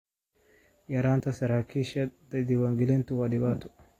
yaraanta saraakiisha diwaangelintu waa dhibaato.